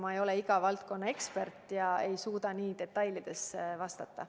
Ma ei ole iga valdkonna ekspert ega suuda nii detailselt vastata.